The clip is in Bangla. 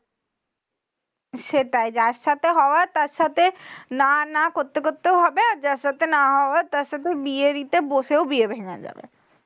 সেটাই যার সাথে হওয়ার তার সাথে না না করতে করতেও হবে। আর যার সাথে না হওয়ার তার সাথে বিয়ের ইতে বসেও বিয়ে ভেঙ্গে যাবে।